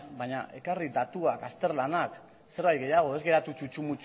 baina ekarri datuak azterlanak zerbait gehiago ez geratu txutxu